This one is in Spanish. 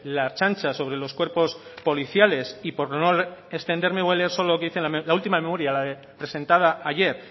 la ertzaintza sobre los cuerpos policiales y por no extenderme voy a leer solo lo que dice la última memoria la presentada ayer